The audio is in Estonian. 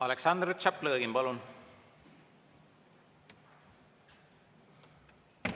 Aleksandr Tšaplõgin, palun!